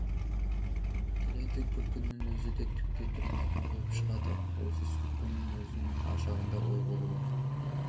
келеді күлкінің өзі де түкке тұрмайтын болып шығады ойсыз күлкінің өзінің ар жағында ой болуы